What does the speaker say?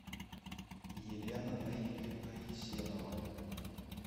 елена наильевна есенова